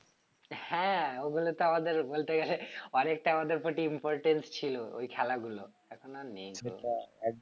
হ্যাঁ ওগুলো তো আমাদের বলতে গেলে অনেকটা আমাদের প্রতি importance ছিল ওই খেলাগুলো এখন আর নেই তো